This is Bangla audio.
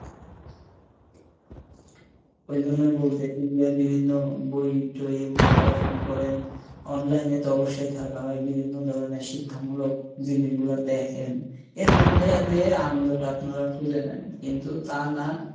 ওইজন্যই বলতেছি যে বিভিন্ন বই টই এইগুলা পড়াশুনা করেন, online এ তো অবশ্যই থাকা হয়, বিভিন্ন ধরণের শিক্ষামূলক জিনিস গুলা দেখেন, এর মধ্যে দিয়েই আনন্দ টা আপনারা খুঁজে নেন। কিন্তু তা না